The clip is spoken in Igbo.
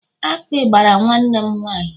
akpị kwara nwanne m nwaanyị